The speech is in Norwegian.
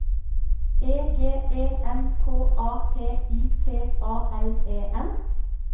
E G E N K A P I T A L E N